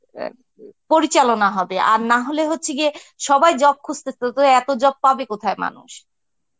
অ্যাঁ পরিচালনা হবে আর না হলে হচ্ছে গিয়ে সবাই job খুজতেসে তো এত job কোথায় পাবে মানুষ?